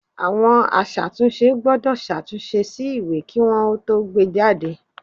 Àwọn aṣàtúnṣe gbọ́dọ̀ ṣàtúnṣe sí ìwé kí wọn ó tó gbé e jáde